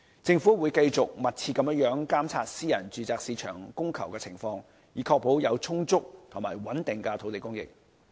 政府會繼續密切監察私人住宅市場的供求情況，以確保有充足及穩定的土地供應。